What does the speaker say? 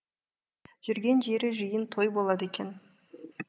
жүрген жері жиын той болады екен